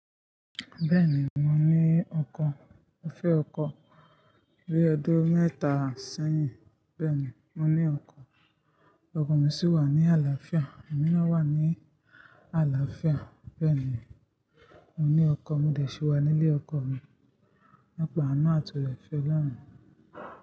Bẹ́ẹ̀ni mo ní ọkọ, mo fẹ́ ọkọ bi ọdún mẹ́ta sẹ́yìn. Bẹ́ẹ̀ni mo ní ọkọ, ọkọ mi sì wà ní àlàáfíà, emi na wà ní àlàáfíà. Bẹ́ẹ̀ni mo ní ọkọ, mo dẹ̀ síí wà nílé ọkọ mi nípa àánú àti ọ̀rẹ́ fẹ́ Ọlọ́run.